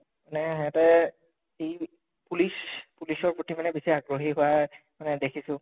এনে হেহঁতে police police ৰ প্ৰতি মানে বেছি আগ্ৰহি হোৱা মানে দেখিছো